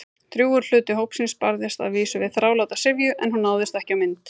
Drjúgur hluti hópsins barðist að vísu við þráláta syfju- en hún náðist ekki á mynd.